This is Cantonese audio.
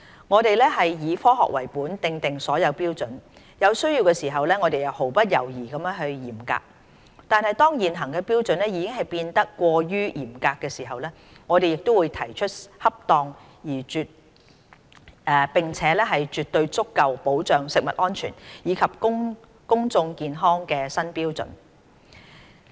我們以"科學為本"訂定所有標準，有需要時我們毫不猶豫地嚴格執行，但當現行標準已變得過於嚴格時，我們亦會提出恰當並且絕對足夠保障食物安全，以及公眾健康的新標準。